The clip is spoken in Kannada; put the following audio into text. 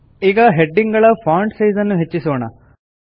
ಈಗ ಹೆಡಿಂಗ್ ಗಳ ಫಾಂಟ್ ಸೈಜ್ ನ್ನು ಹೆಚ್ಚಿಸೋಣ